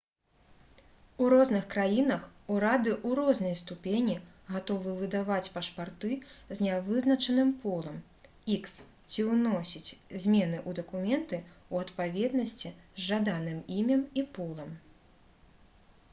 у розных краінах урады ў рознай ступені гатовы выдаваць пашпарты з нявызначаным полам х ці ўносіць змены ў дакументы ў адпаведнасці з жаданым імем і полам